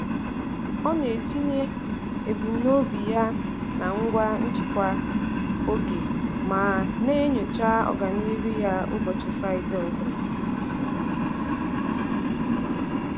Ọ na-etinye ebumnobi ya na ngwa njikwa oge ma na-enyocha ọganihu ya ụbọchị Fraịdee ọbụla.